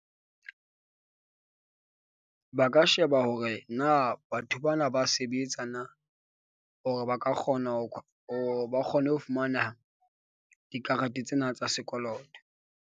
Ba ka sheba hore na batho bana ba sebetsa na, hore ba ka kgona ho ho ba kgone ho fumana dikarete tsena tsa sekoloto.